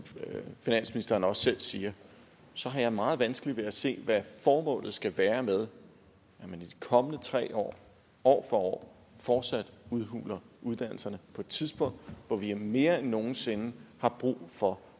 finansministeren også selv siger så har jeg meget vanskeligt ved at se hvad formålet skal være med at de kommende tre år år for år fortsat udhuler uddannelserne på et tidspunkt hvor vi mere end nogen sinde har brug for